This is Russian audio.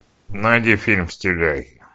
найди фильм стиляги